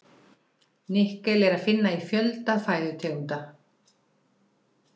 Nikkel er að finna í fjölda fæðutegunda.